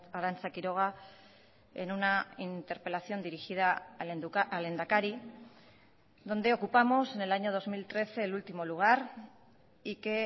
arantza quiroga en una interpelación dirigida al lehendakari donde ocupamos en el año dos mil trece el último lugar y que